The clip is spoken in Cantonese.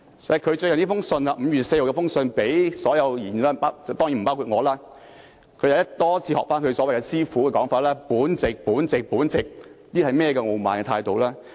此外，他更在5月4日發給所有議員的信中——當然不包括我在內——仿效他的師傅多次形容自己為"本席"，態度極其傲慢。